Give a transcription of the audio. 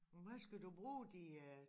Men hvad skal du bruge de øh